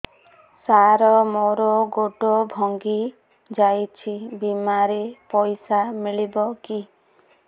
ସାର ମର ଗୋଡ ଭଙ୍ଗି ଯାଇ ଛି ବିମାରେ ପଇସା ମିଳିବ କି